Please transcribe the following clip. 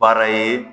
Baara ye